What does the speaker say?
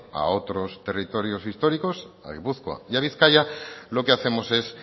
a otros territorios históricos a gipuzkoa y a bizkaia lo que hacemos es